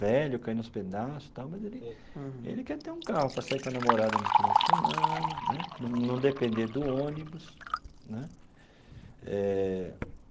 velho, caindo aos pedaços tal, mas ele ele quer ter um carro para sair com a namorada de final de semana né, para não depender do ônibus né eh.